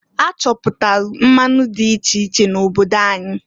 A chọpụtalụ mmanụ di iche iche n' obodo anyị.